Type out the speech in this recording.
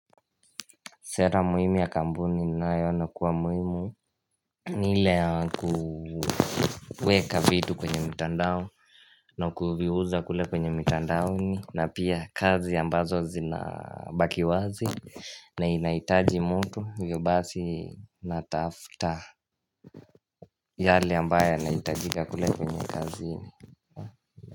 Sera muhimu ya kampuni ninayoona kuwa muhimu ni ile ya kuweka vitu kwenye mtandao na kuviuza kule kwenye mitandaoni na pia kazi ambazo zinabaki wazi na inahitaji mtu hivyo basi natafuta yale ambaye yanahitajika kule kwenye kazini.